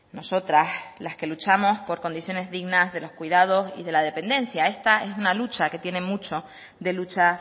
nosotras las que luchamos por condiciones dignas de los cuidados y la dependencia esta es una lucha que tiene mucho de lucha